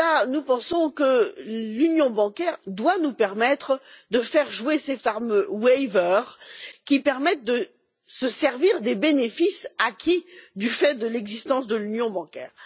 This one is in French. Nous pensons que l'union bancaire doit nous permettre de faire jouer ces fameuses dérogations qui permettent de se servir des bénéfices acquis du fait de l'existence de l'union bancaire.